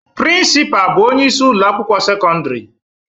Principal bụ onye isi ụlọ akwụkwọ sekọndrị